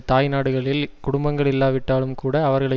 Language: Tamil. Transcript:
தாய் நாடுகளில் குடும்பங்கள் இல்லாவிட்டாலும் கூட அவர்களை